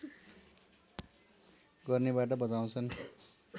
गर्नेबाट बचाउँछन्